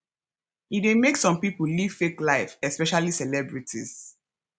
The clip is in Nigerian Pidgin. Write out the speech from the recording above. e de make some pipo live fake life especially celebrities